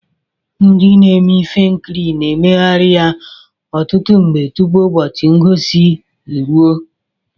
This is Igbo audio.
Ndị na-eme ihe nkiri na-emeghari ya ọtụtụ mgbe tụpụ ụbọchị ngosi eruo.